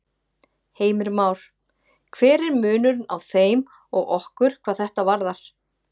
Heimir Már: Hver er munurinn á þeim og okkur hvað þetta varðar?